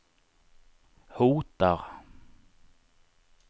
hotar